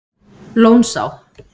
Lónsá